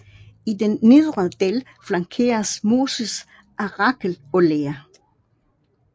I den nedre del flankeres Moses af Rakel og Lea